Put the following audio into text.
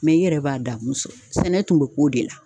Mɛ i yɛrɛ b'a damu sɛnɛ tun be k'o de la